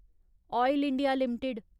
oil India limited